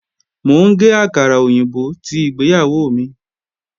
Mò ń gé àkàrà òyìnbó tí ìgbéyàwó mi